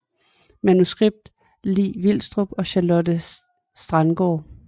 Manuskript Li Vilstrup og Charlotte Strandgaard